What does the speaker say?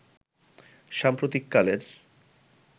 সাম্প্রতিক কালের